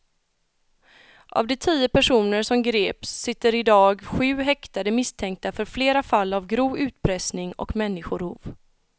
Av de tio personer som greps sitter i dag sju häktade misstänkta för flera fall av grov utpressning och människorov.